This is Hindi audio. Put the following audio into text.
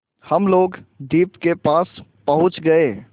हम लोग द्वीप के पास पहुँच गए